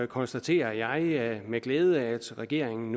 konstaterer jeg med glæde at regeringen